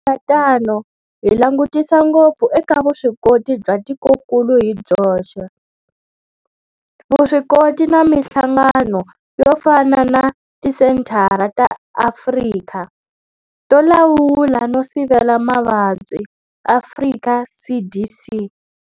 Ku endla tano hi langutisa ngopfu eka vuswikoti bya tikokulu hi byoxe, vuswikoti na mihlangano yo fana na Tisenthara ta Afrika to Lawula no Sivela Mavabyi, Afrika CDC.